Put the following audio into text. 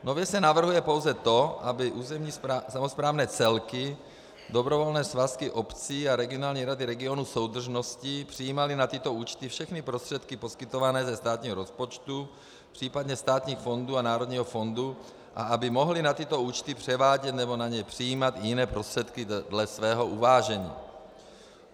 Nově se navrhuje pouze to, aby územní samosprávné celky, dobrovolné svazky obcí a regionální rady regionů soudržnosti přijímaly na tyto účty všechny prostředky poskytované ze státního rozpočtu, případně státních fondů a národního fondu a aby mohly na tyto účty převádět nebo na ně přijímat jiné prostředky dle svého uvážení.